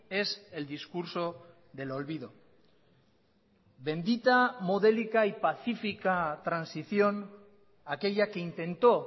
es el discurso del olvido bendita modélica y pacífica transición aquella que intentó